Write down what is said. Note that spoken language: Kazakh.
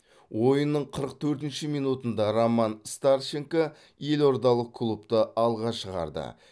ойынның қырық төртінші минутында роман старченко елордалық клубты алға шығарды